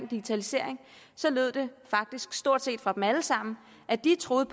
digitalisering lød det faktisk stort set fra dem alle sammen at de troede